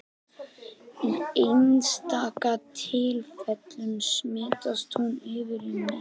Í einstaka tilfellum smitast hún yfir í menn.